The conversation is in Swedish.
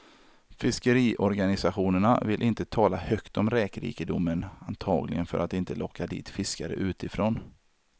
Fiskeriorganisationerna vill inte tala högt om räkrikedomen, antagligen för att inte locka dit fiskare utifrån.